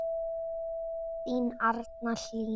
Þín Arna Hlín.